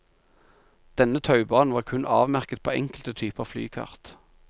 Denne taubanen var kun avmerket på enkelte typer flykart.